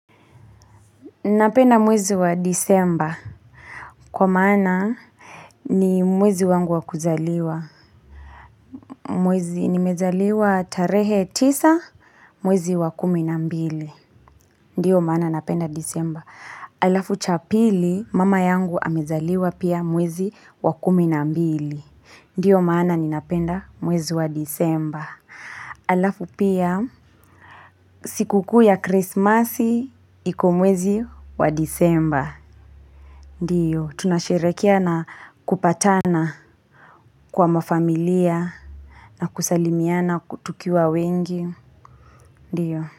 Napenda mwezi wa disemba. Kwa maana ni mwezi wangu wa kuzaliwa. Mwezi nimezaliwa tarehe tisa, mwezi wa kumi na mbili. Ndiyo maana napenda disemba. Alafu cha pili, mama yangu amezaliwa pia mwezi wa kumi na mbili. Ndiyo maana ninapenda mwezi wa disemba. Alafu pia, siku kuu ya krismasi, iko mwezi wa disemba. Ndiyo, tunasherehekea na kupatana kwa mafamilia na kusalimiana tukiwa wengi. Ndiyo.